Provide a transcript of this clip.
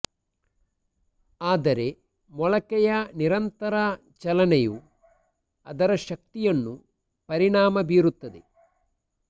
ಆದರೆ ಮೊಳಕೆಯ ನಿರಂತರ ಚಲನೆಯು ಅದರ ಶಕ್ತಿಯನ್ನು ಪರಿಣಾಮ ಬೀರುತ್ತದೆ